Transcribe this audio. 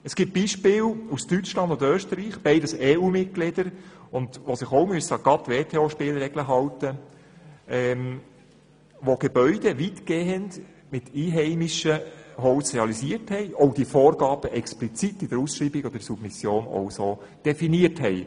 Es gibt Beispiele aus Deutschland und Österreich – beide EUMitglieder, die sich an die WTO-Spielregeln halten müssen –, bei denen Gebäude weitgehend mit einheimischem Holz realisiert wurden und bei denen man diese Vorgaben auch explizit bei den Ausschreibungen und Submissionen definiert hatte.